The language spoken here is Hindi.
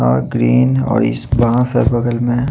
और ग्रीन और इस बाँस है बगल में।